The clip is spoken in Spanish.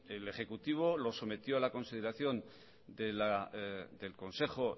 el ejecutivo lo sometió a la consideración del consejo